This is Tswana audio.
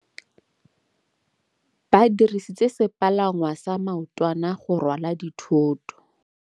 Ba dirisitse sepalangwasa maotwana go rwala dithôtô.